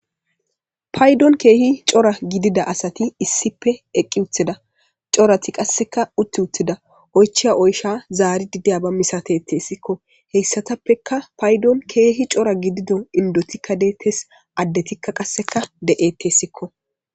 Paydon keehi cora gidida asati issippe eqqi utida corati qasseka utti uttida oychia oysha zaari dideya ba misatettessikko heyssatappeka paydon keehi cora gidido indotikka deettes addetikka qasseka de'etessikko.